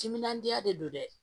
Timinandiya de don dɛ